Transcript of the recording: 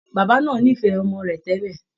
Bàbá náà nífẹ̀ẹ́ ọmọ rẹ̀ tẹ́lẹ̀